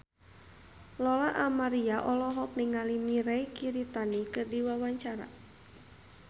Lola Amaria olohok ningali Mirei Kiritani keur diwawancara